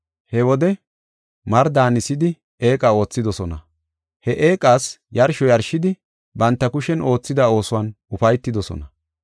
He wode mari daanisidi eeqa oothidosona. He eeqas yarsho yarshidi banta kushen oothida oosuwan ufaytidosona.